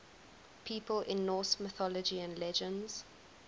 people in norse mythology and legends